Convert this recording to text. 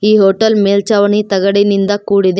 ಈ ಹೋಟೆಲ್ ಮೇಲ್ಚಾವಣಿ ತಗಡಿನಿಂದ ಕೂಡಿದೆ.